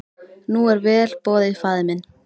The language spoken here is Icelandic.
Nú er vel boðið faðir minn.